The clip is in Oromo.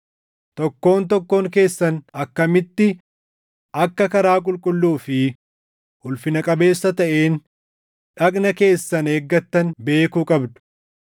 tokkoon tokkoon keessan akkamitti akka karaa qulqulluu fi ulfina qabeessa taʼeen dhagna keessan eeggattan beekuu qabdu;